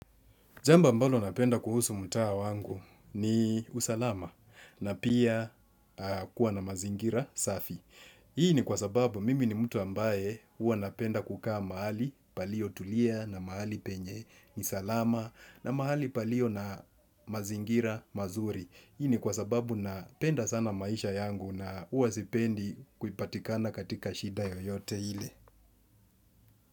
Jambo ambalo napenda kuhusu mtaa wangu ni usalama na pia kuwa na mazingira safi. Hii ni kwa sababu mimi ni mtu ambaye huwa napenda kukaa mahali palio tulia na mahali penye ni salama na mahali palio na mazingira mazuri. Hii ni kwa sababu napenda sana maisha yangu na huwa sipendi kupatikana katika shida yoyote ile.